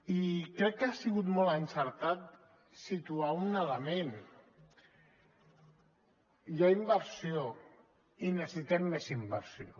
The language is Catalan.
i crec que ha sigut molt encertat situar un element hi ha inversió i necessitem més inversió